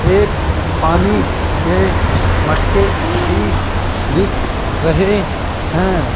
एक पानी के मटके भी दिख रहे है।